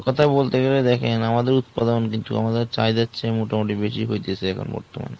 কোথায় বলতে গেলে দেখেন আমাদের উদপাদন কিন্তু আমাদের চাহিদা চেয়ে মোটামুটি বেশি হয়তেছে এখন বর্তমানে।